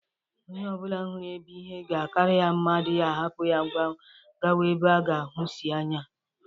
Onye obula huru ebe ihe ga-akara ya mma adighi ahapu ya gawa ebe o ga-ahusi anya.